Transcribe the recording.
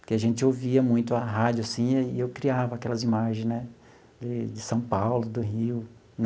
Porque a gente ouvia muito a rádio, assim, e eu criava aquelas imagem né de de São Paulo, do Rio.